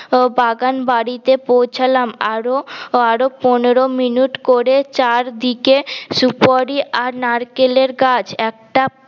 বাগান বাড়িতে পৌঁছালাম আরও আরওপনেরো মিনিট করে চার দিকে সুপরি আর নারকেল এর গাছ একটা